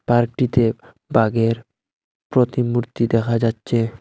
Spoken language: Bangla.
পার্কটিতে বাঘের প্রতিমূর্তি দেখা যাচ্ছে।